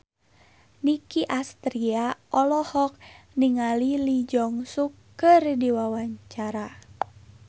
Nicky Astria olohok ningali Lee Jeong Suk keur diwawancara